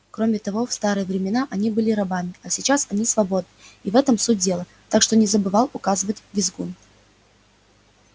кроме того в старые времена они были рабами а сейчас они свободны и в этом суть дела так что не забывал указывать визгун